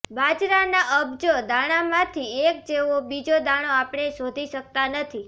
બાજરાના અબજો દાણામાંથી એક જેવો બીજો દાણો આપણે શોધી શકતા નથી